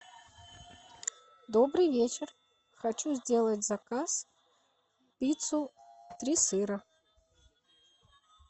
добрый вечер хочу сделать заказ пиццу три сыра